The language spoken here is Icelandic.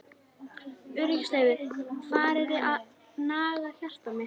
Öryggisleysið farið að naga hjarta mitt.